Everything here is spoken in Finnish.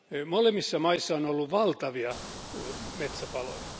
Molemmissa maissa on ollut valtavia metsäpaloja.